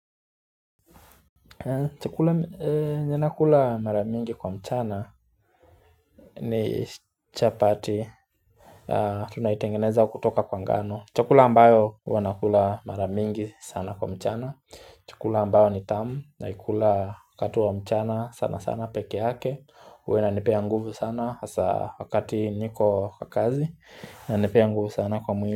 Chukula yenye nakula mara mingi kwa mchana ni chapati Tunaitengeneza kutoka kwa ngano Chukula ambayo huwa nakula mara mingi sana kwa mchana Chukula ambayo ni tamu naikula wakati wa mchana sana sana peke uake huwa inanipea nguvu sana hasa wakati niko kwa kazi inanepea nguvu sana kwa mwili.